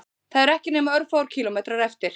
Það eru ekki nema örfáir kílómetrar eftir